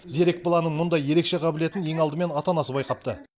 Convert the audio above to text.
зерек баланың мұндай ерекше қабілетін ең алдымен ата анасы байқапты